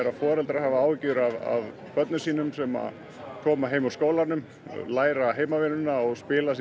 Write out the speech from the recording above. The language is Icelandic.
foreldrar hafi áhyggjur af börnunum sínum sem koma heim úr skólanum læra heimanum og spila síðan